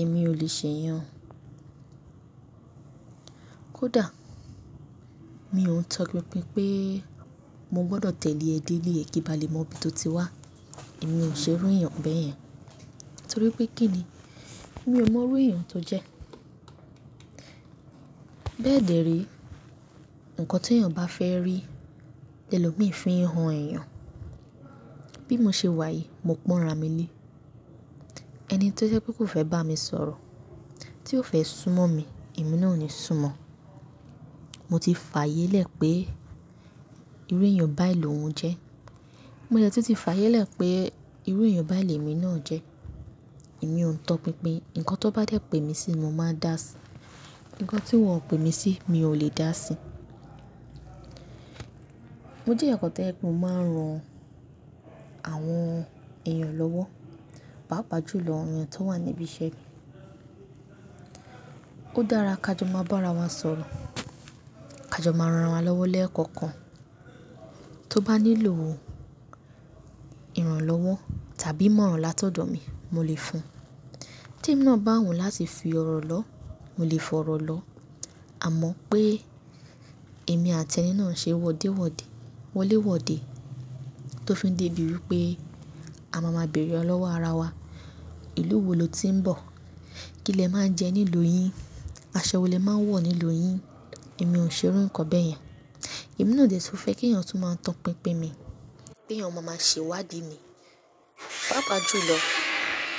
Èmi ò lè ṣe iyẹn. Kódà mi ò ń tọpinpin pé mo gbọ́dọ̀ tẹ̀lé ẹ dé ilé e kí n ba lè mọ ibi tó ti wá. Èmi ò ṣe irú eeyan bẹ́ẹ̀ yẹn. Torí pé kí ni? Èmi ò mọ irú èèyàn tó jẹ́. Bẹ́ẹ̀ dẹ̀re ǹkan tí èèyàn bá fẹ́ rí, lẹlò míì fi hàn èèyàn. Bí mo ṣe wà yìí, mo pọ́nra mi lé. Ẹni tó jẹ́ pé kó fẹ́ bá mi sọ̀rọ̀, tí ó fẹ́ súnmọ́ mi, èmi náà o ni súnmọ́. Mo ti fààyè lẹ̀ pé ìru èèyàn báyìí lòun jẹ́. Mo dẹ̀ tí ti fààyè lẹ̀ pé ìru èèyàn báyìí lèmi náà jẹ́. Èmi ò ń tọpinpin, ǹkan tó bá dé pé mi sí, mo máa dá sí i. Ǹkan tí wọ́n pè mí sí, mi ò lè dá sí i. Mo jẹ́ eeyan kan to jẹ pe mo máa ń ran àwọn èèyàn lọ́wọ́, pá pa jùlọ àwọn èèyàn tó wà níbi iṣẹ́ mi. Ó dára ká jọ máa bá ara wa sọ̀rọ̀. Ká jọ máa ran ara wa lọ́wọ́ lẹ́ẹ̀kọ̀ọ̀kan. Tó bá nílò ìrànlọ́wọ́ tàbí ìmọ̀ràn látọ̀dọ̀ mi, mo lè fún un. Tí emí náà bá wo láti fi ọ̀rọ̀ lọ́, mo lè fọ̀rọ̀ lọ́. Àmọ́ pé èmi àti ẹni náà ṣe wọ́dẹ́wọ́dẹ́, wọléwọ̀dẹ́ tó fi dé bíi pé a máa máa bèrè ara wa ọlọ́wọ́ ara wa. Ìlú wo lo ti ń bọ̀? Kí lẹ máa ń jẹ ní ìlú yín? Aṣọ wo lè máa ń wọ̀ ní ìlú yín? Èmi ò ṣe irú ǹkan bẹ́ẹ̀ yẹn. Èmi náà dẹ̀ tu fẹ́ kí èèyàn tún máa tọ pinpin mi, pé eeyan maa máa ṣe ìwádìí mi, pá pa jùlọ.